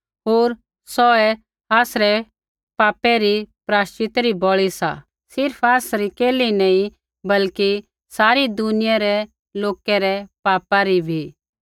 होर सौहै आसरै पापा रा प्रायश्चिता री बलि सा सिर्फ़ आसरै केल्ही नी बल्कि सारी दुनियै रै लोकै रै पापा रा बी